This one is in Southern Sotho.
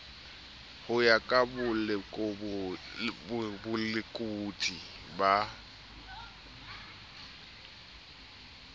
ho ya ka bolekodi ba